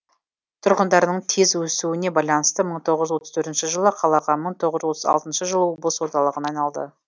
тұрғындарының тез өсуіне байланысты мың тоғыз жүз отыз төртінші жылы қалаға мың тоғыз жүз отыз алтыншы жылы облыс орталығына айналды